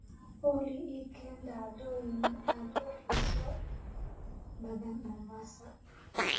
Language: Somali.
olly ii keen dhacdooyin aad u xiiso badan mombasa